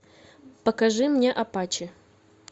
покажи мне апачи